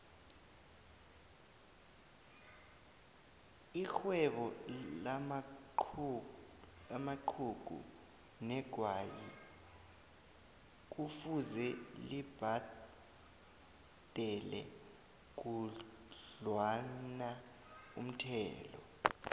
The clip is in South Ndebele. ixhwebo lamaxhugu negwayi kufuze libhadele khudlwanaumthelo